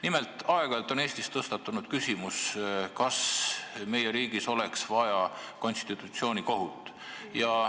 Nimelt, aeg-ajalt on Eestis tõstatunud küsimus, kas meie riigis oleks vaja konstitutsioonikohut.